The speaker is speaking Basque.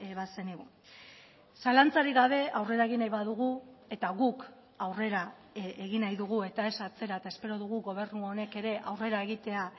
bazenigu zalantzarik gabe aurrera egin nahi badugu eta guk aurrera egin nahi dugu eta ez atzera eta espero dugu gobernu honek ere aurrera egitea